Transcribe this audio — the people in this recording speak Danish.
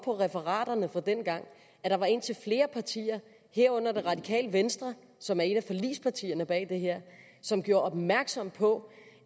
referaterne fra dengang at der var indtil flere partier herunder det radikale venstre som er et af forligspartierne bag det her som gjorde opmærksom på